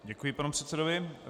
Děkuji panu předsedovi.